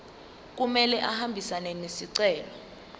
kumele ahambisane nesicelo